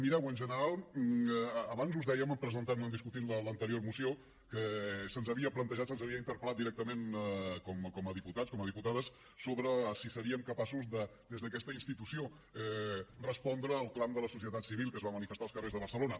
mireu en general abans us dèiem presentant discutint l’anterior moció que se’ns havia plantejat se’ns havia interpel·lat directament com a diputats com a diputades sobre si seríem capaços de des d’aquesta institució respondre al clam de la societat civil que es va manifestar als carrers de barcelona